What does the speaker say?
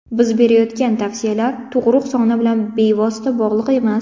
Biz berayotgan tavsiyalar tug‘ruq soni bilan bevosita bog‘liq emas.